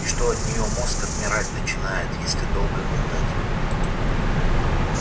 и что от неё мозг отмирать начинает если долго глотать